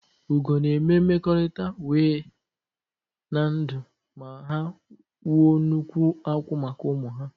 Ugo na eme mmekọrịta wee na ndụ ha ma wuo nnukwu akwụ́ maka ụmụ ha.